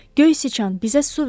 Göy sıçan, bizə su ver!